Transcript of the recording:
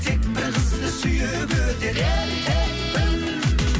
тек бір қызды сүйіп өтер еркекпін